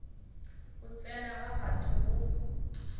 go tsena ga batho go